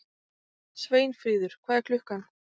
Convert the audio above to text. Sveinfríður, hvað er klukkan?